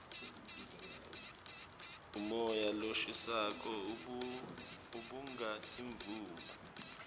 umoya loshisako ubanga imvula